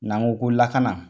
N'an ko ko lakana